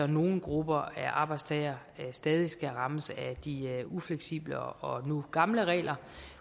nogle grupper af arbejdstagere stadig skal rammes af de ufleksible og nu gamle regler